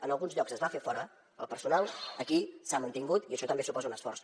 en alguns llocs es va fer fora el personal aquí s’ha mantingut i això també suposa un esforç